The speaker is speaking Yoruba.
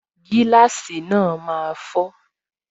Gíláàsì náà máa fọ